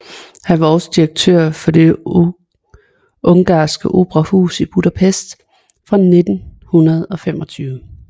Han var også direktør for det Ungarske Operahus i Budapest fra 1925